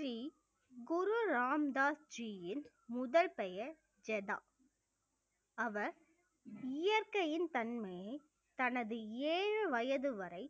ஸ்ரீ குரு ராம்தாஸ் ஜீயின் முதல் பெயர் ஜதா அவர் இயற்கையின் தன்மையை தனது ஏழு வயது வரை